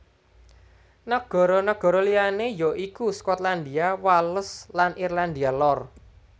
Nagara nagara liyané ya iku Skotlandia Wales lan Irlandia Lor